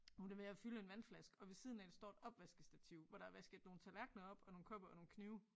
Hun er ved at fylde en vandflaske og ved siden af hende står et opvaskestativ hvor der er vasket nogle tallerkener op og nogle kopper og nogle knive